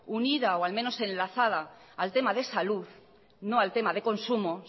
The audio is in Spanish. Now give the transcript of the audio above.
unida o al menos enlazada al tema de salud no al tema de consumo